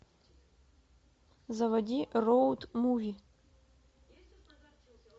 заводи роуд муви